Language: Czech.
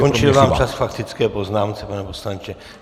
Skončil vám čas k faktické poznámce, pane poslanče.